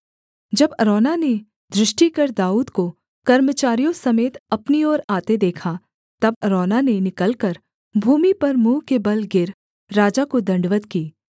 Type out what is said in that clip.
जब अरौना ने दृष्टि कर दाऊद को कर्मचारियों समेत अपनी ओर आते देखा तब अरौना ने निकलकर भूमि पर मुँह के बल गिर राजा को दण्डवत् की